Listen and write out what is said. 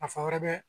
Nafa wɛrɛ bɛ